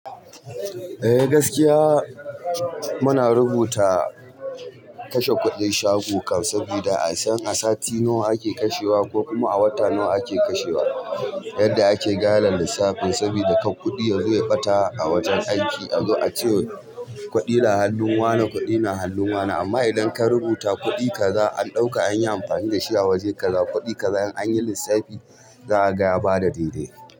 Eh gaskiya muna rubuta kashe kuɗin shago kan, saboda a san a sati nawa ake kashewa ko kuma a wata nawa ake kashewa yadda ake gane lissafin saboda kar kuɗi ya zo ya ɓata a wajen aiki a zo a ce, kuɗi na hannun wane kuɗi na hannun wane, amma idan ka rubuta kuɗi kaza an ɗauka an yi amfani da shi a waje kaza, kuɗi kaza in an yi lissafi za a ga ya bada daidai.